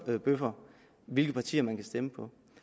hørebøffer hvilke partier man kan stemme på